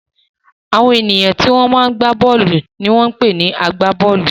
Àwọn ènìyàn tí wọ́n máa ń gbá bọ́ọ́lù ni wọ́n ń pè ní agbá-bọ́ọ́lù.